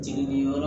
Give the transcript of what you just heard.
Jigi yɔrɔ